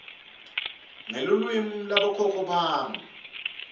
ngelulwimi lwabokhokho bami